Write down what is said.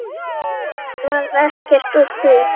Það varð ekkert úr því.